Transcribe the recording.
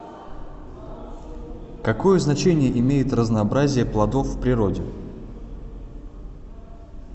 какое значение имеет разнообразие плодов в природе